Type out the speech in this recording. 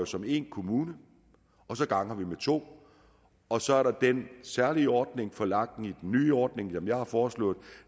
som én kommune og så ganger vi med to og så er der den særlige ordning for lag i den nye ordning som jeg har foreslået